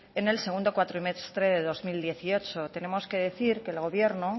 en el segundo cuatrimestre de dos mil dieciocho tenemos que decir que el gobierno